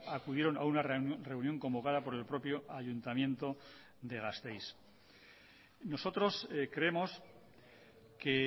acudieron a una reunión convocada por el propio ayuntamiento de gasteiz nosotros creemos que